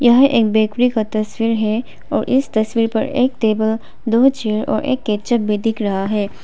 यह एक बेकरी का तस्वीर है और इस तस्वीर पर एक टेबल दो चेयर और एक केचप भी दिख रहा है।